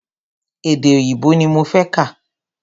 Èdè òyìnbó ní mo fẹ́ kà.